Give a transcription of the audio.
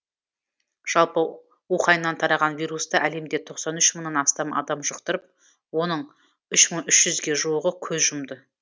жалпы уханьнан тараған вирусты әлемде тоқсан үш мыңнан астам адам жұқтырып оның үш мың үш жүзге жуығы көз жұмды